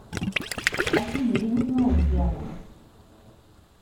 афина я не знаю где она